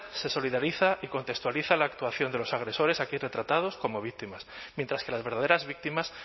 se solidariza y contextualiza la actuación de los agresores aquí retratados como víctimas mientras que las verdaderas víctimas